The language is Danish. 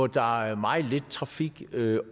der er meget lidt trafik så det